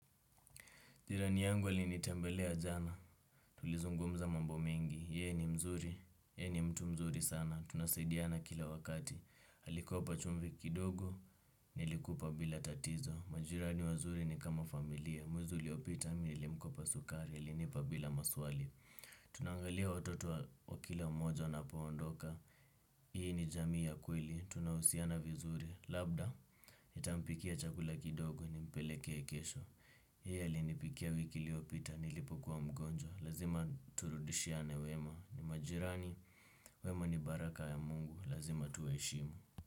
Jirani yangu alinitembelea jana, tulizungumza mambo mengi, ye ni mzuri, ye ni mtu mzuri sana, tunasidiana kila wakati. Alikopa chumvi kidogo, nilikupa bila tatizo, majirani wazuri ni kama familia, mwezi uliopita, mimi nilimkopa sukari, alinipa bila maswali. Tunaangalia watoto wa kila moja anapoondoka, hii ni jamii ya kweli, tunahusiana vizuri, labda, nitampikia chakula kidogo, nimpelekee kesho. Yeye alinipikia wiki iliyopita nilipokuwa mgonjwa. Lazima turudishiane wema. Ni majirani. Wema ni baraka ya mungu. Lazima tuwaheshimu.